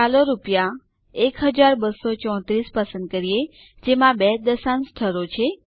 ચાલો રૂ૧૨૩૪૦૦ પસંદ કરીએ જેમાં બે દશાંશ સ્થળો છે